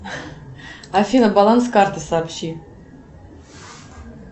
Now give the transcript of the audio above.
афина баланс карты сообщи